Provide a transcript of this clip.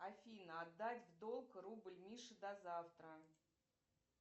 афина отдать в долг рубль мише до завтра